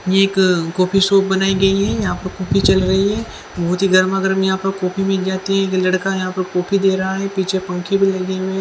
ये एक coffee shop बनायी गयी है यहाँ पर कॉफी चल रही है बहुतही गरमा गरम यहाँ पर कॉफी मिल ज्याति है एक लड़का है यहाँ पर कॉफी दे रहा है पीछे पंखे भी लगे हुए है।